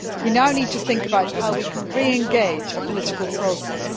We now need to think about how we can re engage a political process.